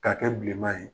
K'a kɛ bilenman ye